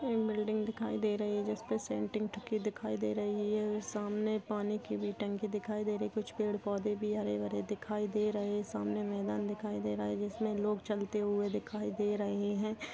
एक बिल्डिंग दिखाई दे रही है। जिसमे दिखाई दे रही है। सामने पानी की भी टंकी दिखाई दे रही कुछ पेड़ पौधे भी हरे भरे दिखाई दे रहे सामने मैदान दिखाई दे रहा है। जिसमे लोग चलते हुए दिखाई दे रहे है।